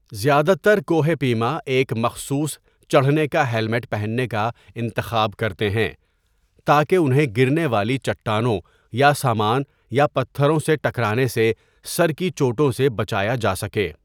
زیادہ تر کوہ پیما ایک مخصوص چڑھنے کا ہیلمٹ پہننے کا انتخاب کرتے ہیں تاکہ انہیں گرنے والی چٹانوں یا سامان یا پتھروں سے ٹکرانے سے سر کی چوٹوں سے بچایا جا سکے۔